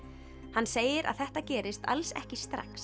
hann segir að þetta gerist alls ekki strax